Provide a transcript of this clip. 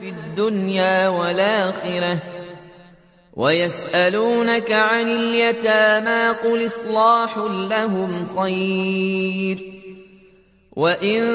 فِي الدُّنْيَا وَالْآخِرَةِ ۗ وَيَسْأَلُونَكَ عَنِ الْيَتَامَىٰ ۖ قُلْ إِصْلَاحٌ لَّهُمْ خَيْرٌ ۖ وَإِن